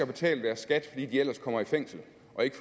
betaler skat